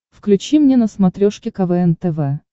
включи мне на смотрешке квн тв